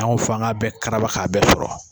An ko f'an ga bɛɛ karaba k'a bɛɛ sɔrɔ